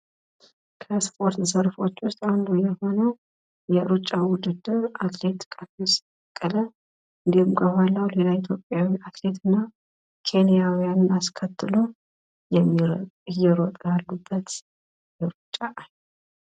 ከስፖርት አይነቶች መካከል አንዱ የሆነው የሩጫ ውድድር ፣ እንዲሁም ከኋላው ኢትዮጵያዊ አትሌት እና ኬንያውያንን አስከትሎ እየሮጠ ያሉበት ሩጫ ነው።